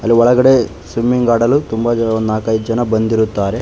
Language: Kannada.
ಅಲ್ಲಿ ಒಳಗಡೆ ಸ್ವಿಮ್ಮಿಂಗ್ ಆಡಲು ತುಂಬ ಜನ ನಾಕೖದು ಜನ ಬಂದಿರುತ್ತಾರೆ.